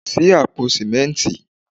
Ṣí àpò sìmẹ́ntì.